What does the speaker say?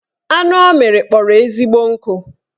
Anụ ọ mịrị kpọrọ ezigbo nkụ